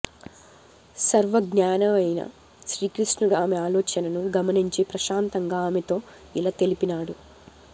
సర్వజ్ఞానయైన శ్రీకృష్ణుడు ఆమె ఆలోచనను గమనించి ప్రశాంతంగా ఆమెతో యిలా తెలిపినాడు